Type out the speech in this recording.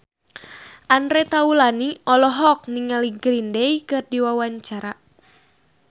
Andre Taulany olohok ningali Green Day keur diwawancara